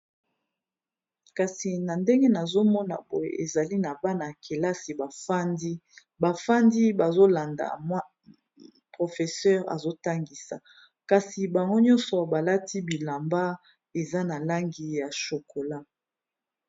Kasi na ndenge nazomona boye, ezali na bana kelasi bafandi, bafandi bazolanda molakisi azotangisa, kasi bango nyonso balati bilamba eza na langi ya shokola.